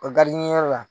O garidiɲɛnyɔrɔ la